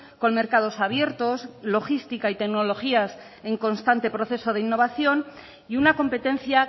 con mercados abiertos logística y tecnologías en constantes proceso de innovación y una competencia